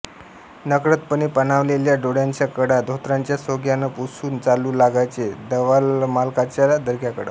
नकळतपणे पाणावलेल्या डोळ्यांच्या कडा धोतराच्या सोग्यानं पुसून चालू लागायचे दवालमालकाच्या दर्ग्याकडं